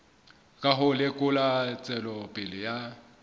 ka ho lekola tswelopele ya